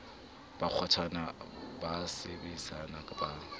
ba kgwathana ba sebaseba ba